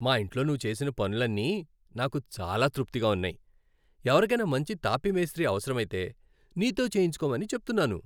మా ఇంట్లో నువ్వు చేసిన పనులన్నీ నాకు చాలా తృప్తిగా ఉన్నాయి. ఎవరికైనా మంచి తాపీ మేస్త్రీ అవసరమైతే, నీతో చేయించుకోమని చెప్తున్నాను.